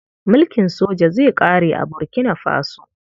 Mulkin soja zai ƙare a Burkina Faso.